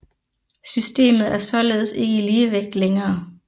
Systemet er således ikke i ligevægt længere